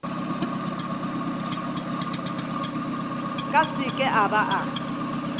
ka seke a ba a